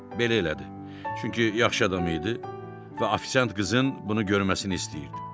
Belə elədi, çünki yaxşı adam idi və ofisiant qızın bunu görməsini istəyirdi.